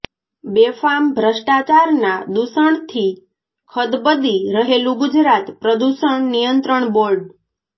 બેફામ ભ્રષ્ટાચારના દૂષણથી ખદબદી રહેલું ગુજરાત પ્રદુષણ નિયંત્રણ બોર્ડ